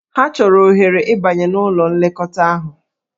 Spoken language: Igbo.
Ha chọrọ ohere ịbanye n'ụlọ nlekọta ahụ.